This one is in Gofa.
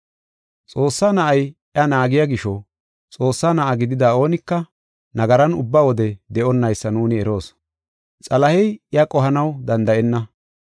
Xoossaa Na7ay iya naagiya gisho, Xoossaa na7a gidida oonika nagaran ubba wode de7onnaysa nuuni eroos. Xalahey iya qohanaw danda7enna.